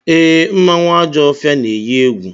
Ee, mmanwụ Ajọfịa na-eyi egwu.